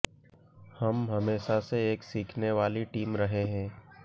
हम हमेशा से एक सीखने वाली टीम रहे हैं